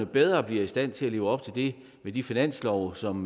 bedre i stand til at leve op til det med de finanslove som